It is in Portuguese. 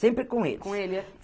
Sempre com eles. Com ele